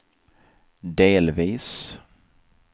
delvis